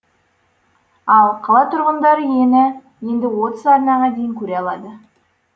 ал қала тұрғындары енді отыз арнаға дейін көре алады